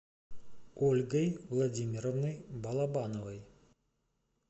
ольгой владимировной балабановой